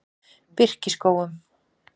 Birkiskógum